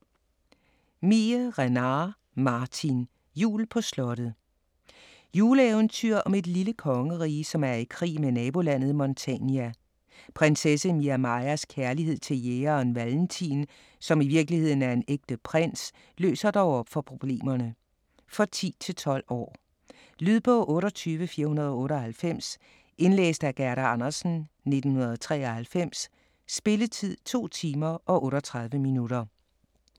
Miehe-Renard, Martin: Jul på slottet Juleeventyr om et lille kongerige, som er i krig med nabolandet Montania. Prinsesse Miamajas kærlighed til jægeren Valentin, som i virkeligheden er en ægte prins, løser dog op for problemerne. For 10-12 år. Lydbog 28498 Indlæst af Gerda Andersen, 1993. Spilletid: 2 timer, 38 minutter.